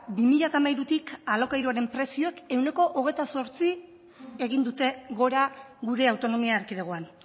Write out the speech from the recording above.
bi mila hamairutik alokairuen prezioek ehuneko hogeita zortzi egin dute gora gure autonomia erkidegoan